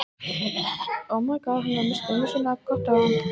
Hann hafði líka misst mömmu sína, og sorgin varð að hafa sinn farveg.